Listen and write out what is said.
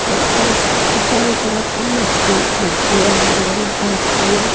एै और उस उसके चारों तरफ मट्टी मट्टी है हरी हरी घास भी है।